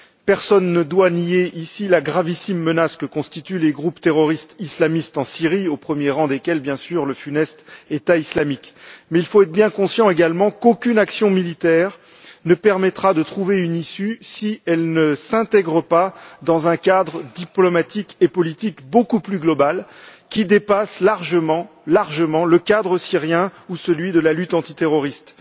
Personne ne doit nier ici la gravissime menace que constituent les groupes terroristes islamistes en Syrie, au premier rang desquels, bien sûr, le funeste État islamique, mais il faut être bien conscient également qu'aucune action militaire ne permettra de trouver une issue si elle ne s'intègre pas dans un cadre diplomatique et politique beaucoup plus global qui dépasse largement, le cadre syrien ou celui de la lutte antiterroriste.